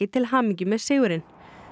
til hamingju með sigurinn